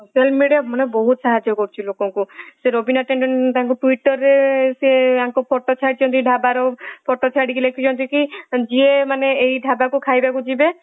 social mediaମାନେ ବହୁତ ସାହାଯ୍ୟ କରୁଛି ଲୋକଙ୍କୁ ସେ ରବୀନ ଟେଣ୍ଡେନ ତାଙ୍କୁ twitter ରେ ସେ ୟାଙ୍କphoto ଛାଡିଛନ୍ତି ଢାବରphoto ଛାଡିକି ଲେଖିଛନ୍ତି କି ଯିଏ ମାନେ ଏଇ ଢାବାକୁ ଖାଇବାକୁ ଯିବେ